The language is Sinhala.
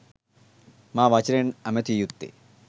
මා වචනයෙන් ඇමතිය යුත්තේ.